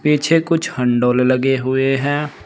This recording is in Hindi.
पीछे कुछ हण्डोले लगे हुए हैं।